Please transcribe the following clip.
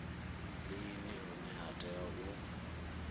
lini hune ha tea u